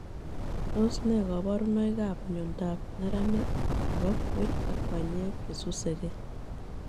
Tos nee kabarunoik app miondop neranik nepo kwen ak panyeek chesusegei